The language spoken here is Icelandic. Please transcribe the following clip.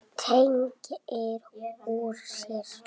Teygir úr sér.